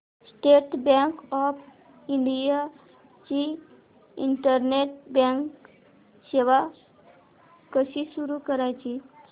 state bank of India ची internet banking सेवा कशी सुरू करायची